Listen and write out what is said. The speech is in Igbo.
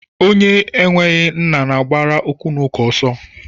Onye enweghị nna na-agbara okwunauka ọsọ.